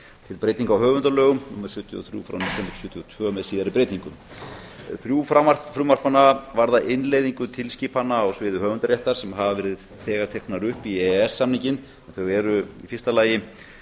til breytinga á höfundalögum númer sjötíu og þrjú frá nítján hundruð sjötíu og tvö með síðari breytingum þrjú frumvarpanna varða innleiðingu tilskipana á sviði höfundaréttar sem hafa þegar verið teknar upp í e e s samninginn þau eru í fyrsta lagi